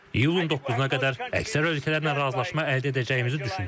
İyulun 9-na qədər əksər ölkələrlə razılaşma əldə edəcəyimizi düşünürəm.